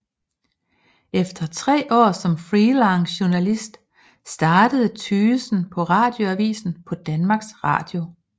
Efter tre år som freelancejournalist startede Tygesen på Radioavisen på Danmarks Radio